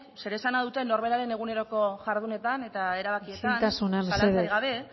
zer esana dute norberaren eguneroko jardunean eta erabakietan isiltasuna mesedez gabe